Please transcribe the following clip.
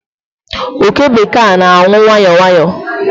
Oke bekee a n'anwu nwayọọ nwayọọ